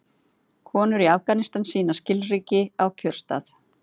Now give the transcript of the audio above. Konur í Afganistan sýna skilríki á kjörstað.